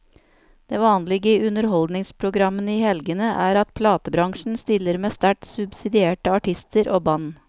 Det vanlige i underholdningsprogrammene i helgene er at platebransjen stiller med sterkt subsidierte artister og band.